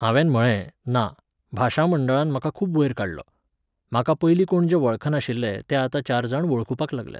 हांवेन म्हळें, ना, भाशा मंडळान म्हाका खूब वयर काडलो. म्हाका पयलीं कोण जे वळखनाशिल्ले, ते आतां चार जाण वळखुपाक लागल्यात.